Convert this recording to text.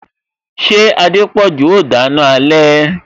Ṣé Adepoju o dana alẹ